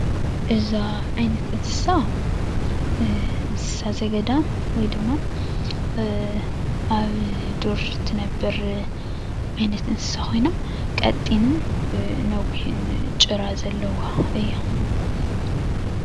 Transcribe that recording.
እዛ ዓይነት እንስሳ፤ እንስሳ ዘገዳም ወይ ድማ ኣብ ዱር እትነብር ዓይነት እንስሳ ኾይና ቀጢንን ነዊሕን ጭራ ዘለዋ እያ።